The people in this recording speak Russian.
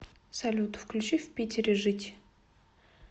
салют включи в питере жить